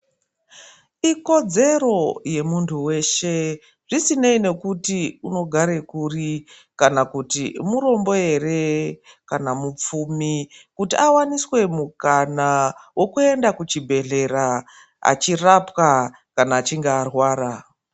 Ikodzero yemuntu weshe, zvisineyi nekuti unogarekuri kana kuti murombo here, kana mupfumi, kuti awaniswe mukana wokuyenda kuchibhedhlera achirapwa kana achinge arwara.